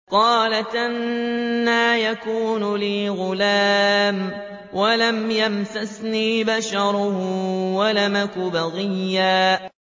قَالَتْ أَنَّىٰ يَكُونُ لِي غُلَامٌ وَلَمْ يَمْسَسْنِي بَشَرٌ وَلَمْ أَكُ بَغِيًّا